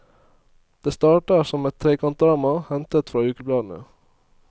Det starter som et trekantdrama hentet fra ukebladene.